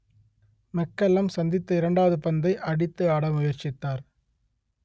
McCullum சந்தித்த இரண்டாவது பந்தை அடித்து ஆட முயற்சித்தார்